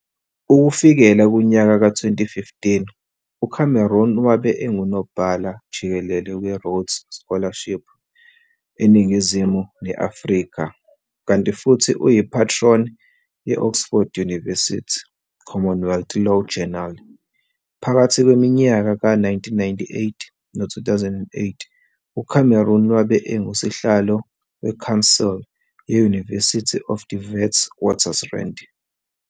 Ukufikela kunyaka ka 2015, uCameron wabe engunobhala jikelele we-Rhodes Scholarship eNingizimu ne-Afrika kanti futhi uyi-patron ye-Oxford Univesity Commonewealth Law Journal. Phakathi kweminyaka ka 1998 no 2008, uCameron wabe engusihlalo we-Council ye-Univesity of the Witwatersrand.